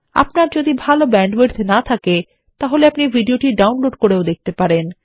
আপনারযদি ভাল ব্যান্ডউইডথ না থাকে আপনিভিডিওটি ডাউনলোড করেও দেখতেপারেন